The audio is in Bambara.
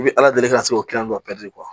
I bi ala deli ka se k'o kilan jɔ